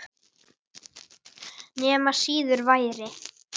Nema síður væri.